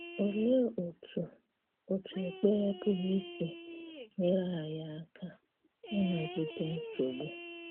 Òlee otú̀ otú̀ ekperé pụrụ isi nyerè anyị àka ịnagidè nsogbu?